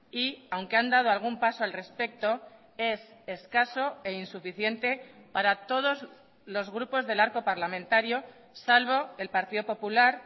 y aunque han dado algún paso al respecto es escaso e insuficiente para todos los grupos del arco parlamentario salvo el partido popular